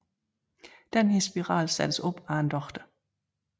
Denne spiral sættes op af en læge